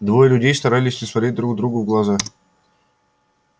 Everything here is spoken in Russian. двое людей старались не смотреть друг другу в глаза